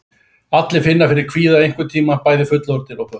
Allir finna fyrir kvíða einhvern tíma, bæði fullorðnir og börn.